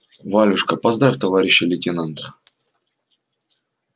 валюшка поздравь товарища лейтенанта